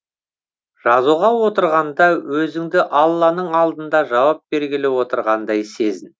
жазуға отырғанда өзіңді алланың алдында жауап бергелі отырғандай сезін